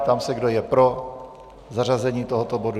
Ptám se, kdo je pro zařazení tohoto bodu.